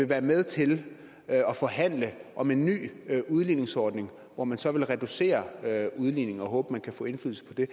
være med til at forhandle om en ny udligningsordning hvor man så vil reducere udligningen og håber man kan få indflydelse på det